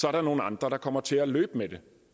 er der nogle andre der kommer til at løbe med det